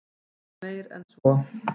Og meir en svo.